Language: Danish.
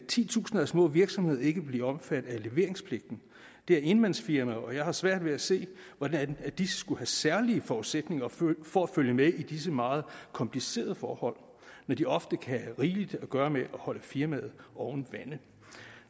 titusinder af små virksomheder ikke bliver omfattet af leveringspligten det er enmandsfirmaer og jeg har svært ved at se hvordan de skulle have særlige forudsætninger for for at følge med i disse meget komplicerede forhold når de ofte kan have rigeligt at gøre med at holde firmaet oven vande